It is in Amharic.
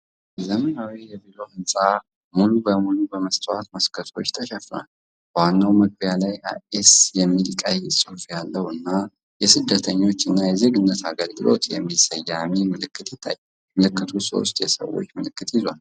ዘመናዊ የቢሮ ህንፃ ሙሉ በሙሉ በመስታወት መስኮቶች ተሸፍኗል። በዋናው መግቢያ ላይ "አይሲኤስ" የሚል ቀይ ጽሑፍ ያለው እና "የስደተኞች እና የዜግነት አገልግሎት" የሚል ሰማያዊ ምልክት ይታያል። ምልክቱ ሦስት የሰዎች ምልክትም ይዟል።